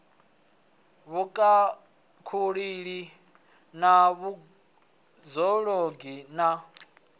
vhukhakhululi na vhud ologi na